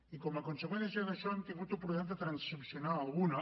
i com a conseqüència d’això hem tingut oportunitat de transaccionar alguna